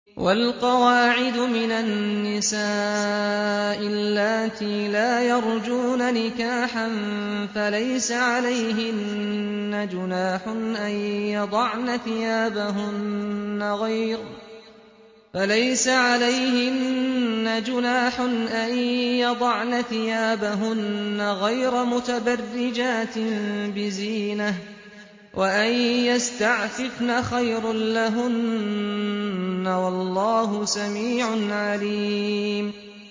وَالْقَوَاعِدُ مِنَ النِّسَاءِ اللَّاتِي لَا يَرْجُونَ نِكَاحًا فَلَيْسَ عَلَيْهِنَّ جُنَاحٌ أَن يَضَعْنَ ثِيَابَهُنَّ غَيْرَ مُتَبَرِّجَاتٍ بِزِينَةٍ ۖ وَأَن يَسْتَعْفِفْنَ خَيْرٌ لَّهُنَّ ۗ وَاللَّهُ سَمِيعٌ عَلِيمٌ